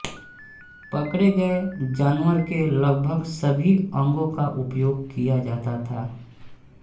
पकड़े गए जानवर के लगभग सभी अंगों का उपयोग किया जाता था